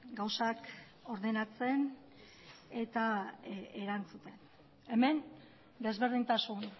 gauzak ordenatzen eta erantzuten hemen desberdintasun